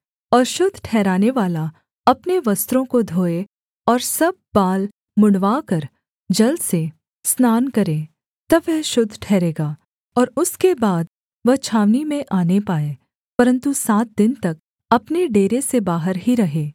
और शुद्ध ठहरनेवाला अपने वस्त्रों को धोए और सब बाल मुँण्डवाकर जल से स्नान करे तब वह शुद्ध ठहरेगा और उसके बाद वह छावनी में आने पाए परन्तु सात दिन तक अपने डेरे से बाहर ही रहे